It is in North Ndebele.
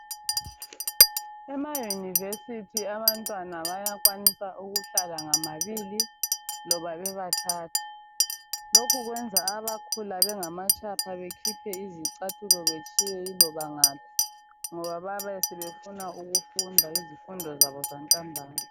Emayunivesithi abantwana bayakwanisa ukuhlala ngababili loba bebathathu. Lokhu kuyenza abakhula bengamatshapha bekhiphe izicathulo betshiye loba ngaphi ngoba bayabe sebefunda ukufunda izifundo zabo zantambama.